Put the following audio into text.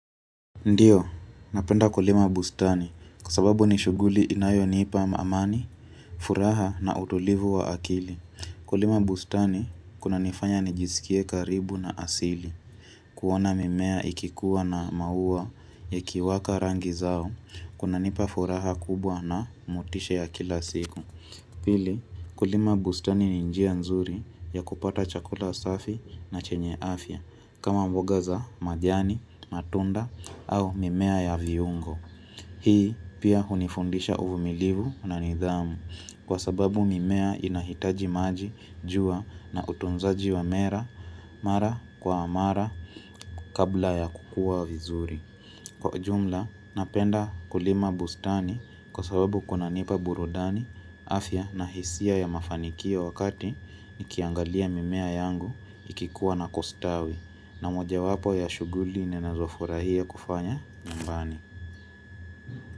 Ndiyo, napenda kulima bustani kwa sababu ni shughuli inayonipa amani, furaha na utulivu wa akili. Kulima bustani kuna nifanya nijiskie karibu na asili, kuona mimea ikikuwa na maua yakiwaka rangi zao, kunanipa furaha kubwa na motishe ya kila siku. Pili kulima bustani ni njia nzuri ya kupata chakula safi na chenye afya kama mboga za majani, matunda au mimea ya viungo. Hii pia hunifundisha uvumilivu na nidhamu kwa sababu mimea inahitaji maji jua na utunzaji wa mera mara kwa amara kabla ya kukua vizuri. Kwa jumla, napenda kulima bustani kwa sababu kunanipa burudani, afya na hisia ya mafanikio wakati nikiangalia mimea yangu ikikuwa na kustawi na moja wapo ya shughuli ninazofurahia kufanya nyumbani.